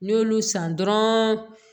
N'i y'olu san dɔrɔn